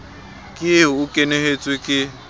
ke eo o kwenehetswe ke